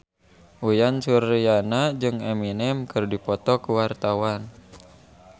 Uyan Suryana jeung Eminem keur dipoto ku wartawan